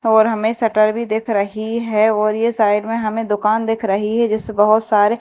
और हमेे शटर भी दिख रही है और ये साइड में हमें दुकान दिख रही है बहुत सारे--